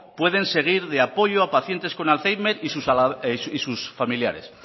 pueden seguir de apoyo a pacientes con alzheimer y sus familiares